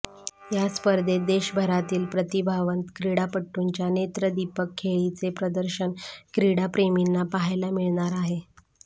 या स्पर्धेत देशभरातील प्रतिभावंत क्रीडापटूंच्या नेत्रदीपक खेळीचे प्रदर्शन क्रीडाप्रेमिंना पाहायला मिळणार आहे